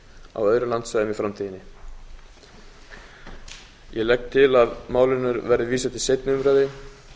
á öðrum landsvæðum í framtíðinni ég legg til að málinu verði vísað til seinni umræðu